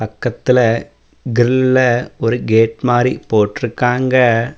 பக்கத்துல கிரில்ல ஒரு கேட் மாரி போட்டுருக்காங்க.